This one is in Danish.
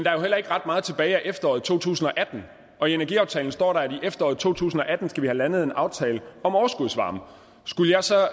er jo heller ikke ret meget tilbage af efteråret to tusind og atten og i energiaftalen står der at i efteråret to tusind og atten skal vi have landet en aftale om overskudsvarme skulle jeg så